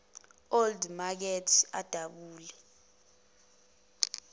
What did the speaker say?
old makert idabula